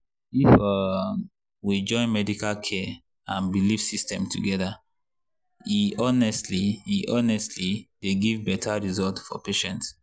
if um we join medical care and belief system together e honestly e honestly dey give better result for patient.